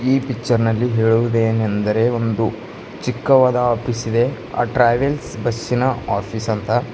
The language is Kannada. ಈ ಕಿಚನ್ ನಲ್ಲಿ ಹೇಳುವುದೇನಂದರೆ ಒಂದು ಚಿಕ್ಕವಾದ ಆಫೀಸ್ ಇದೆ ಆ ಟ್ರಾವೆಲ್ಸ್ ಬಸ್ಸಿನ ಆಫೀಸ್ ಅಂತ.